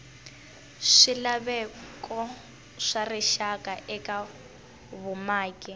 swilaveko swa rixaka eka vumaki